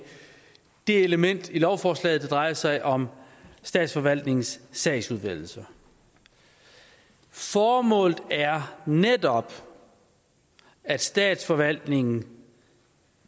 det element i lovforslaget der drejer sig om statsforvaltningens sagsudvælgelser formålet er netop at statsforvaltningen